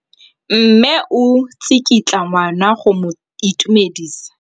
Mme o tsikitla ngwana go mo itumedisa.